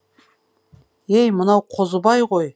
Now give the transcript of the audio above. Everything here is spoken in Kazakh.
ей мынау қозыбай ғой